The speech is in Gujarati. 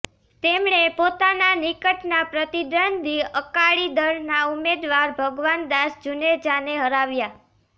તેમણે પોતાના નિકટના પ્રતિદ્વંદી અકાળી દળના ઉમેદવાર ભગવાન દાસ જુનેજાને હરાવ્યા